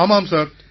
ஆமாம் சார்